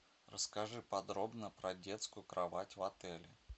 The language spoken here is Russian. расскажи подробно про детскую кровать в отеле